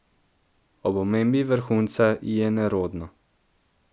Ob omembi vrhunca ji je nerodno.